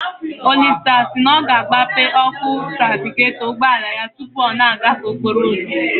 Olisa si na ọ ga-agbape ọkụ trafigetọ ụgbọala ya tụpụ ọ na-agafe okporo ụzọ